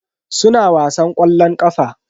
Suna wasan ƙwallon ƙafa.